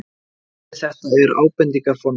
orðið þetta er ábendingarfornafn